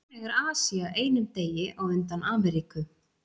Þannig er Asía einum degi á undan Ameríku.